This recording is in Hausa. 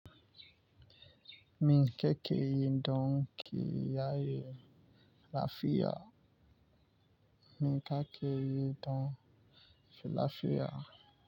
Min kakeyin don ƙiyaye lafiya. Min kakeyi don lafiya.